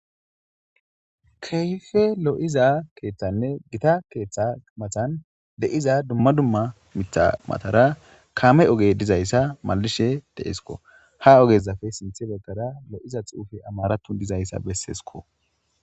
Keeyfe lo7iza keeththanne gita keeththa matan de7iza dumma dumma mitamatara kaame oge dizayssa malishe deeskko ha ogezafe sinthe beggara lo7iza xuufe amaratu dizayssa besseesko.